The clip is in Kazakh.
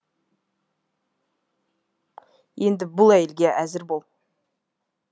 енді бұл әйелге әзір бол